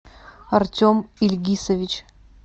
артем ильгисович